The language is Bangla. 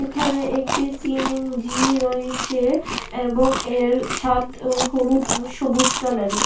ধারে একটি সিএনজি রয়েছে এবং এর ছাদ অ হলুদ এবং সবুজ কালার এর।